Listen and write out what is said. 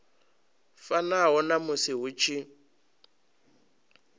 fanaho na musi hu tshi